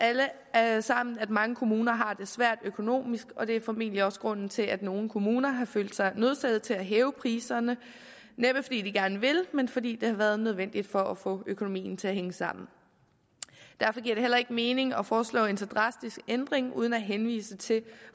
alle sammen at mange kommuner har det svært økonomisk og det er formentlig også grunden til at nogle kommuner har følt sig nødsaget til at hæve priserne næppe fordi de gerne vil men fordi det har været nødvendigt for at få økonomien til at hænge sammen derfor giver det heller ikke mening at foreslå en så drastisk ændring uden at henvise til